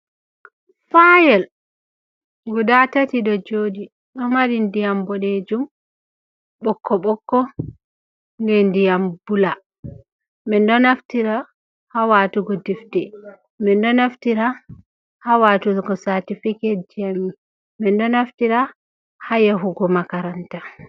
Fayel guda tati ɗo jooɗi ,ɗo mari ndiyam boɗejum, ɓokko ɓokko be ndiyam bula .Min ɗo naftira haa waatugo defte, min ɗo naftira haa waatugo saatifiketji a min ,min ɗo naftira haa yahugo makaranta.